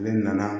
Ne nana